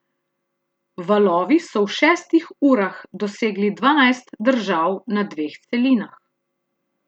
Valovi so v šestih urah dosegli dvanajst držav na dveh celinah.